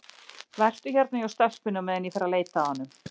Vertu hérna hjá stelpunni á meðan ég fer að leita að honum.